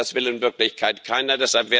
Und das will in Wirklichkeit keiner.